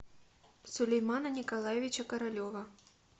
сулеймана николаевича королева